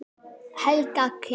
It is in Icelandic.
Helga Kjaran.